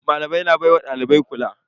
Malamai na baiwa dalibai kula.